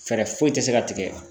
Fɛɛrɛ foyi tɛ se ka tigɛ